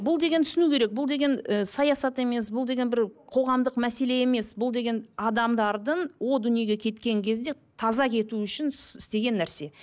бұл деген түсіну керек бұл деген і саясат емес бұл деген бір қоғамдық мәселе емес бұл деген адамдардың о дүниеге кеткен кезде таза кету үшін істеген нәрсе